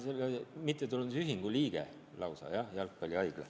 Ma olen selle mittetulundusühingu liige lausa – jah, Jalgpallihaigla.